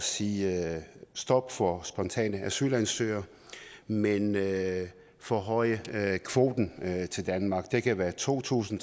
sige stop for spontane asylansøgere men at forhøje kvoten til danmark det kan være to tusind